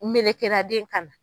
Melekera den kan na.